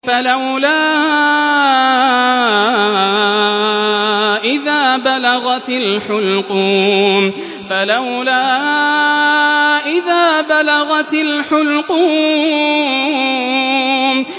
فَلَوْلَا إِذَا بَلَغَتِ الْحُلْقُومَ